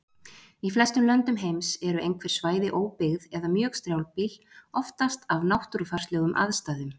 Í flestum löndum heims eru einhver svæði óbyggð eða mjög strjálbýl, oftast af náttúrufarslegum aðstæðum.